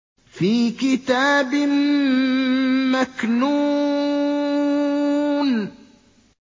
فِي كِتَابٍ مَّكْنُونٍ